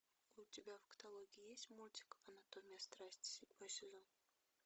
у тебя в каталоге есть мультик анатомия страсти седьмой сезон